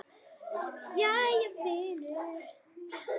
Jæja vinur.